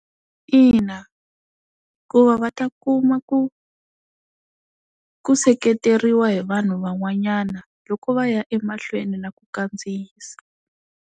Ina hikuva va ta kuma ku ku seketeriwa hi vanhu van'wanyana loko va ya emahlweni na ku kandziyisa.